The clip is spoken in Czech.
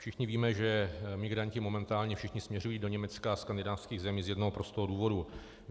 Všichni víme, že migranti momentálně všichni směřují do Německa a skandinávských zemí z jednoho prostého důvodu.